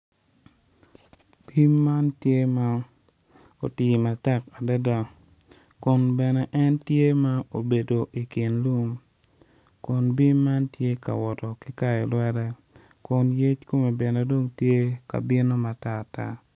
Bim man tye ma oti matek adada kun bene en tye ma obedo i kin lum kun bim man tye ka woto ki kayo lwete kun yec kome bene dong tye ka bino matar tar.